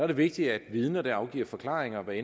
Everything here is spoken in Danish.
det vigtigt at vidner der afgiver forklaringer hvad